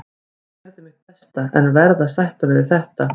Ég gerði mitt besta en verð að sætta mig við þetta.